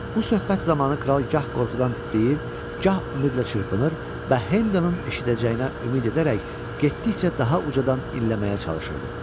Bu söhbət zamanı kral gah qorxudan titrəyir, gah ümidlə çırpınır və Hendonun eşidəcəyinə ümid edərək getdikcə daha ucadan inləməyə çalışırdı.